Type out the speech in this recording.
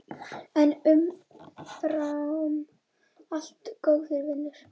En umfram allt góður vinur.